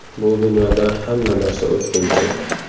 Bu dunyoda hamma narsa o‘tkinchi.